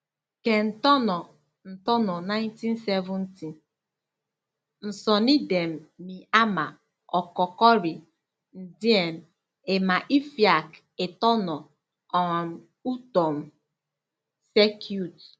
Ke ntọn̄ọ ntọn̄ọ 1970, nsọn̄idem mi ama ọkọkọri ndien ima ifiak itọn̄ọ um utom circuit.